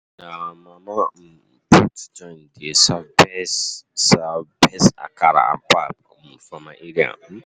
Na Mama um Put joint dey serve best serve best akara and pap um for my area. um